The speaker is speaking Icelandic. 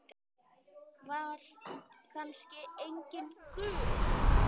Var kannski enginn Guð?